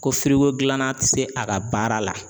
Ko finko gilanna ti se a ka baara la